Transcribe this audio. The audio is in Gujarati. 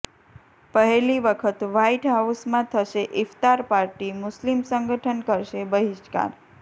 પહેલી વખત વ્હાઇટ હાઉસમાં થશે ઇફ્તાર પાર્ટી મુસ્લિમ સંગઠન કરશે બહિષ્કાર